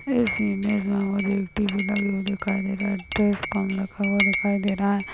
इस इमेज में मुझे एक टी.वी. लगी हुई दिखाई दे रहा है ड्रेस कॉम लिखा हुआ दिखाई दे रहा है।